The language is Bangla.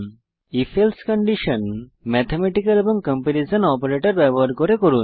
if এলসে কন্ডিশন ম্যাথমেটিক্যাল এবং কম্পারিসন অপারেটর ব্যবহার করে করুন